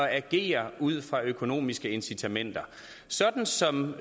agere ud fra økonomiske incitamenter sådan som